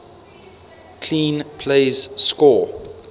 clean plays score